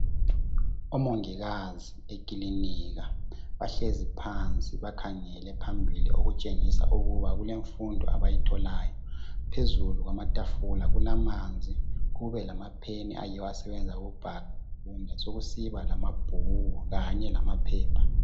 Omongikazi ekilinika bahlezi phansi bakhangele phambili okutshengisa ukuba kulemfundo abayitholayo, phezulu kwamatafula kulamanzi kube lama pheni ayiwo asebenza ukubhala besokusiba lamabhuku kanye lamaphepha.